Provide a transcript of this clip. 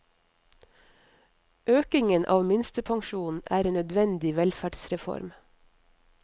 Økningen av minstepensjonen er en nødvendig velferdsreform.